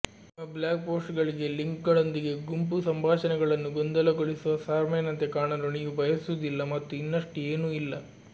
ನಿಮ್ಮ ಬ್ಲಾಗ್ ಪೋಸ್ಟ್ಗಳಿಗೆ ಲಿಂಕ್ಗಳೊಂದಿಗೆ ಗುಂಪು ಸಂಭಾಷಣೆಗಳನ್ನು ಗೊಂದಲಗೊಳಿಸುವ ಸ್ಪ್ಯಾಮರ್ನಂತೆ ಕಾಣಲು ನೀವು ಬಯಸುವುದಿಲ್ಲ ಮತ್ತು ಇನ್ನಷ್ಟು ಏನೂ ಇಲ್ಲ